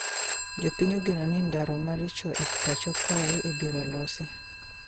jopiny ogeno ni ndaro maricho e pacho kae ibiro losi